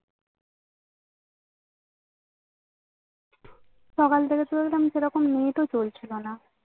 সকাল থেকে ওরকম সেরকম net ও চলছিল না